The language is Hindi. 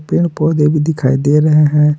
पेड़ पौधे भी दिखाई दे रहे हैं।